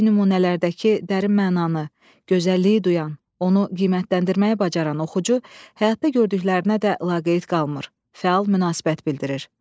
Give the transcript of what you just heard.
Bədii nümunələrdəki dərin mənanı, gözəlliyi duyan, onu qiymətləndirməyi bacaran oxucu həyatda gördüklərinə də laqeyd qalmır, fəal münasibət bildirir.